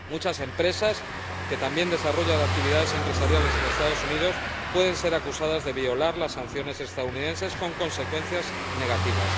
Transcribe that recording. Muchas empresas, que también desarrollan actividades empresariales en los Estados Unidos, pueden ser acusadas de violar las sanciones estadounidenses con consecuencias negativas.